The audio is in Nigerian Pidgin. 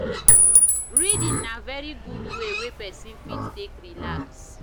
reading na very good way wey person fit take relax